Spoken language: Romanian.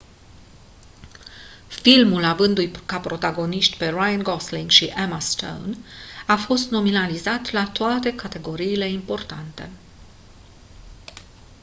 filmul avăndu-i ca protagoniști pe ryan gosling și emma stone a fost nominalizat la toate categoriile importante